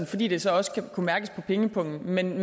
fordi det så også skal kunne mærkes på pengepungen men